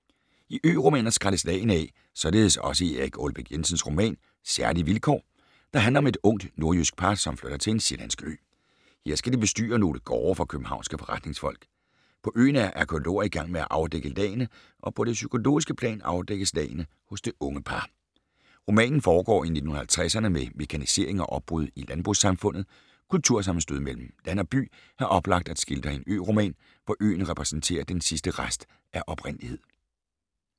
I ø-romaner skrælles lagene af, således også i Erik Aalbæk Jensens roman Særlige vilkår, der handler om et ungt nordjysk par, som flytter til en sjællandsk ø. Her skal de bestyre nogle gårde for københavnske forretningsfolk. På øen er arkæologer i gang med at afdække lagene, og på det psykologiske plan afdækkes lagene hos det unge par. Romanen foregår i 1950´erne med mekanisering og opbrud i landbrugssamfundet. Kultursammenstød mellem land og by er oplagt at skildre i en ø-roman, hvor øen repræsenterer den sidste rest af oprindelighed.